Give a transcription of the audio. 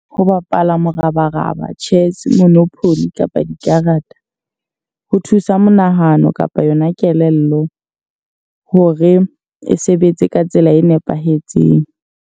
Ho bapala morabaraba, chess monopoly, kapa dikarata. Ho thusa monahano kapa yona kelello hore e sebetse ka tsela e nepahetseng.